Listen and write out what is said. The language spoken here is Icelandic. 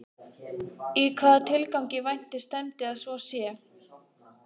Í hvaða tilgangi vænti stefndi að svo sé?